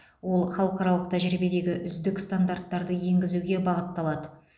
ол халықаралық тәжірибедегі үздік стандарттарды енгізуге бағытталады